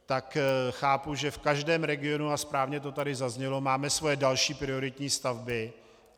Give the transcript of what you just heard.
Tak chápu, že v každém regionu, a správně to tady zaznělo, máme svoje další prioritní stavby.